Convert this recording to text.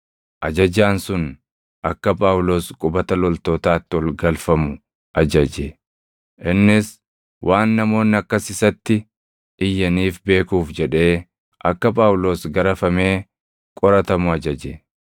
ajajaan sun akka Phaawulos qubata loltootaatti ol galfamuu ajaje; innis waan namoonni akkas isatti iyyaniif beekuuf jedhee akka Phaawulos garafamee qoratamu ajaje.